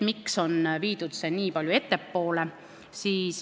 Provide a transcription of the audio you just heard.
Miks on see toodud nii palju ettepoole?